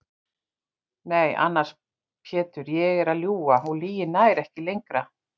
Nei annars Pétur ég er að ljúga og lygin nær ekki lengra.